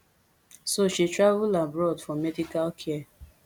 so she travel abroad for medical care